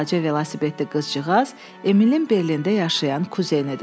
Balaca velosipedli qızcıqaz Emilin Berlində yaşayan kuzenidir.